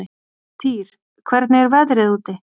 Týr, hvernig er veðrið úti?